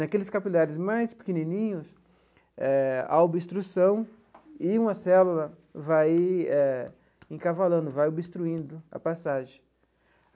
Naqueles capilares mais pequenininhos eh, há obstrução e uma célula vai eh encavalando, vai obstruindo a passagem.